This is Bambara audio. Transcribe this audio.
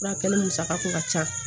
Furakɛli musaka kun ka ca